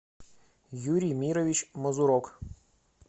юрий мирович мазурок